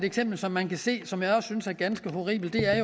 eksempel som man kan se som jeg også synes er ganske horribelt er